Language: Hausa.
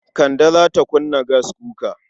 Kande za ta kunna gaskuka.